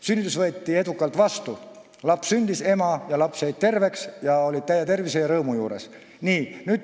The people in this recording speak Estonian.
Sünnitus võeti aga edukalt vastu: laps sündis, ema ja laps jäid terveks ning on täie tervise juures ja rõõmsad.